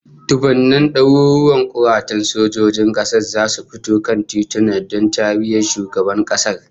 Dubban daruruwan kuratan sojojin kasar zasu fito kan tituna don tariyan shugaban kasar